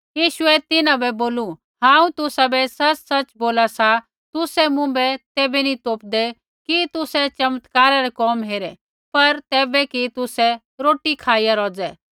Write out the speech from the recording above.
यीशुऐ तिन्हां बै बोलू हांऊँ तुसाबै सच़सच़ बोला सा तुसै मुँभै तैबै नी तोपदै कि तुसै चमत्कारा रै कोम हेरे पर तैबै कि तुसै रोटी खाईया रोज़ै